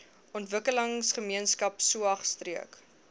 ontwikkelingsgemeenskap saog streek